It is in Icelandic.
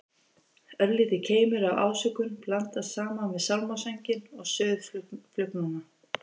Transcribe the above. Örlítill keimur af ásökun blandast saman við sálmasönginn og suð flugnanna.